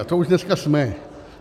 A to už dneska jsme.